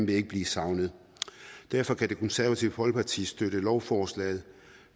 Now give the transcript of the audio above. vil ikke blive savnet derfor kan det konservative folkeparti støtte lovforslaget